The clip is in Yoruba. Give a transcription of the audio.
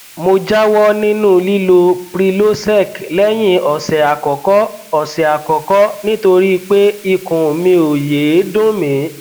mo jáwọ nínú lílo prilosec lẹyìn ọsẹ àkọkọ ọsẹ àkọkọ nítorí pé ikùn mi ò yéé dùn mí